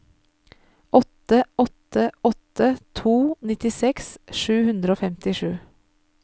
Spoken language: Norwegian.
åtte åtte åtte to nittiseks sju hundre og femtisju